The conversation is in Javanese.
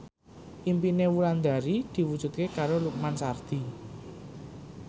impine Wulandari diwujudke karo Lukman Sardi